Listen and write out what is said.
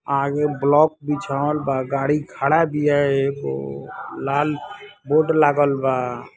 आगे ब्लॉक बीछवाल बा गाड़िओ खड़ा बिया लाल बोर्ड लागल बा एगो --